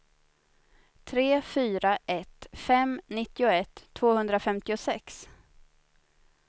tre fyra ett fem nittioett tvåhundrafemtiosex